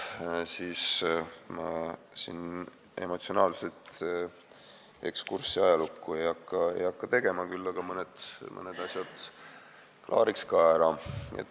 Ma ei hakka emotsionaalset eksurssi ajalukku tegema, küll aga klaariks ka mõned asjad ära.